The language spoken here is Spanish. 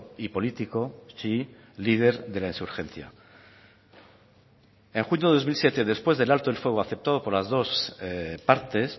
y político chií líder de la insurgencia en junio de dos mil siete después del alto el fuego aceptado por las dos partes